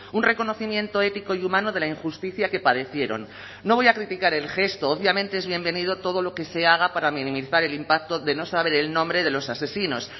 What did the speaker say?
un reconocimiento ético y humano de la injusticia que padecieron no voy a criticar el gesto obviamente es bienvenido todo lo que se haga para minimizar el impacto de no saber el nombre de los asesinos